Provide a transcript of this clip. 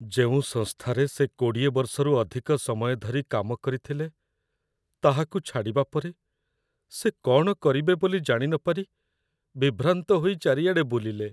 ଯେଉଁ ସଂସ୍ଥାରେ ସେ ୨୦ ବର୍ଷରୁ ଅଧିକ ସମୟ ଧରି କାମ କରିଥିଲେ, ତାହାକୁ ଛାଡ଼ିବା ପରେ, ସେ କ'ଣ କରିବେ ବୋଲି ଜାଣିନପାରି ବିଭ୍ରାନ୍ତ ହୋଇ ଚାରିଆଡ଼େ ବୁଲିଲେ।